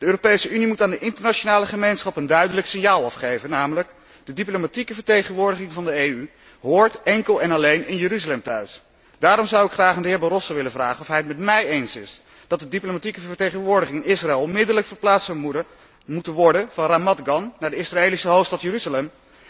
De Europese Unie moet aan de internationale gemeenschap een duidelijk signaal afgeven, namelijk de diplomatieke vertegenwoordiging van de EU hoort enkel en alleen in Jeruzalem thuis. Daarom zou ik graag aan de heer Barroso willen vragen of hij het met mij eens is dat de diplomatieke vertegenwoordiging Israël onmiddellijk verplaatst zou moeten worden van Ramat Gan naar de Israëlische hoofdstad Jeruzalem?